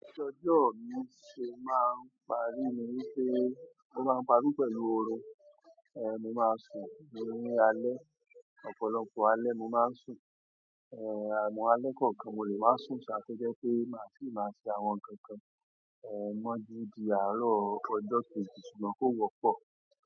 Ọjọ́ ọjọ́ mí ṣe máa ń parí ni wípé, ó máa ń parí pẹ̀lú orin. Mo máa sùn, ní alẹ́, ọ̀pọ̀lọpọ̀ alẹ́ mo máa ń sùn. Àmọ́ alẹ́ kọ̀ọ̀kan mo lè má sùn ṣá tó jé pé màá sì máa ṣe àwọn ǹkan kan mọ́ jú di àárọ̀ ọjọ́ kejì ṣùgbọ́n kò wọ́pọ̀.